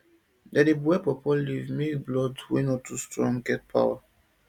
dem dey boil pawpaw leaf make blood wey no strong get power